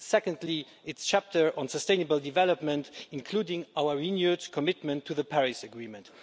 Secondly, its chapter on sustainable development, including our renewed commitment to the Paris Agreement.